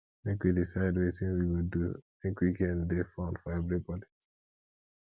make we decide wetin we go do make weekend dey fun for everybodi